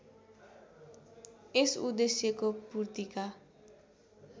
यस उद्देश्यको पूर्तिका